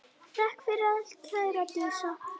Takk fyrir allt kæra Dísa.